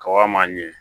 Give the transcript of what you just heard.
Kaba ma ɲi